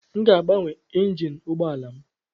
Aga m agbanwe injin ụgbọala m.